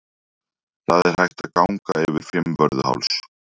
Það er hægt að ganga yfir Fimmvörðuháls.